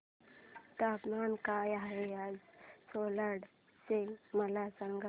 तापमान काय आहे आज सिल्लोड चे मला सांगा